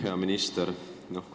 Hea minister!